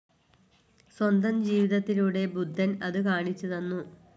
സ്വന്തം ജീവിതത്തിലൂടെ ബുദ്ധൻ അതു കാണിച്ചു തന്നു.